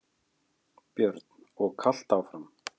Björn: Og kalt áfram?